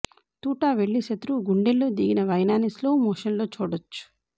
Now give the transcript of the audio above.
తూటా వెళ్లి శత్రువు గుండెల్లో దిగిన వైనాన్ని స్లో మోషన్లో చూడొచ్చు